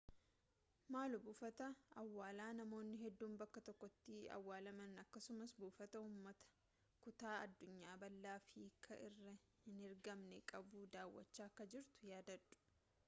maaloo buufata awwaalaa namoonni hedduun bakka tokkotti awwaalaman akkasumas buufata ummata kutaa addunyaa bal'aaf hiikkaa hin herreegamne qabu daawwachaa akka jirtu yaadadhau